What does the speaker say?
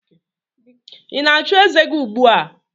Ị na-achụ eze gi ugbua?